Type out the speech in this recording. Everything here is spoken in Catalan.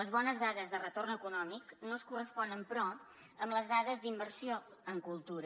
les bones dades de retorn econòmic no es corresponen però amb les dades d’inversió en cultura